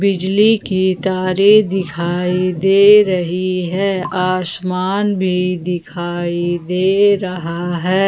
बिजली की तारे दिखाई दे रही हैं आसमान भी दिखाई दे रहा है।